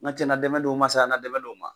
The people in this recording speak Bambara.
N ga cɛ na dɛmɛ don n ma na dɛmɛ don n ma